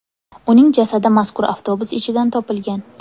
Uning jasadi mazkur avtobus ichidan topilgan.